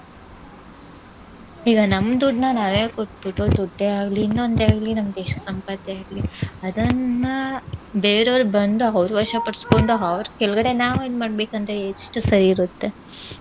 ಈಗ ನಮ್ ದುಡ್ನಾ ನಾವೇ ಕೊಟ್ಬಿಟ್ಟು ದುಡ್ಡೇ ಆಗ್ಲಿ ಇನ್ನೊಂದೇ ಆಗ್ಲಿ ನಮ್ದ್ ಎಷ್ಟ್ ಸಂಪತ್ತೇ ಆಗ್ಲಿ ಅದನ್ನ ಬೇರೆಯವ್ರ್ ಬಂದು ಅವ್ರ್ ವಶ ಪಡ್ಸ್ಕೊಂಡು ಅವ್ರ್ ಕೇಳ್ಗಡೆ ನಾವೇ ಇದ್ ಮಾಡ್ಬೇಕೂಂದ್ರೆ ಎಷ್ಟ್ ಸರಿ ಇರುತ್ತೆ.